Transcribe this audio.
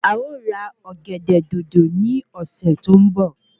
À o ra Ọ̀gẹ̀dẹ̀ Dòdò ní ọ̀sè tó n bọ